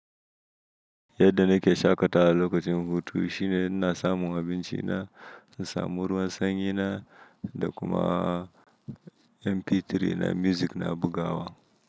Yadda nake shaƙatawa lokacin hutu shine ina samun abinci na, ina samun ruwan sanyi na da kuma MP3 na music na bugawa.